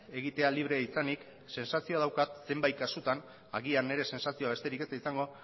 egitea libre izanik sentsazioa daukat zenbait kasutan agian nire sentsazioa besterik ez da izango